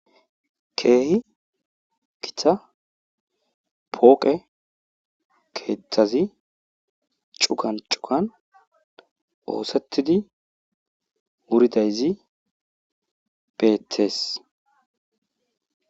Keehi githa pooqe keethazi cuga cugan oosettidi wuridayzi beettees.